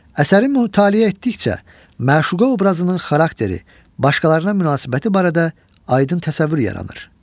Əsəri mütaliə etdikcə məşuqa obrazının xarakteri, başqalarına münasibəti barədə aydın təsəvvür yaranır.